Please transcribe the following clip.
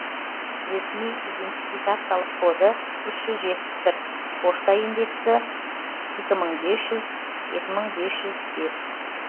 ресми идентификациялық коды үш жүз жетпіс бір пошта индексі екі мың бес жүз екі мың бес жүз бес